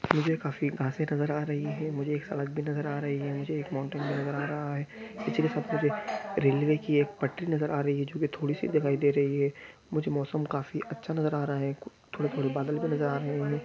मुझे काफी कासे नज़र आ रही है मुझे एक सड़क भी नजर आ रही है नीचे एक माउंटेन भी नज़र आ रहा है पीछे सब कुछ रेलवे की एक पटरी नजर आ रही है जो की थोड़ी सी दिखाई दे रही है मुझे मौसम काफी अच्छा नजर आ रहा है थोड़े-थोड़े बादल भी नजर आ रहे हैं।